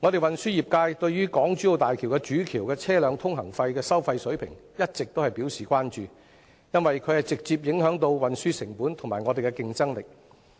運輸業界對於港珠澳大橋主橋的車輛通行費收費水平一直表示關注，因這直接影響到運輸成本及業界的競爭力。